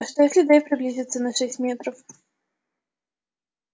а что если дейв приблизится на шесть метров